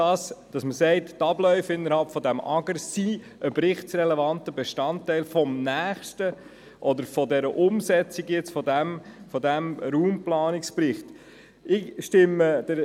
Also die Frage, ob die Abläufe innerhalb des AGR einen berichtsrelevanten Bestandteil des nächsten oder des aktuellen Raumplanungsberichts sind.